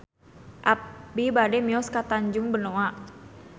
Abi bade mios ka Tanjung Benoa